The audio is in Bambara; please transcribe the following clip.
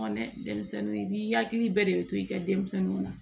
Dɛ denmisɛnninw n'i yakili bɛɛ de be to i ka denmisɛnninw na